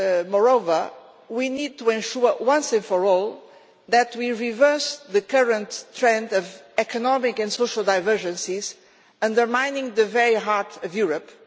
Moreover, we need to ensure, once and for all, that we reverse the current trend of economic and social divergences undermining the very heart of Europe.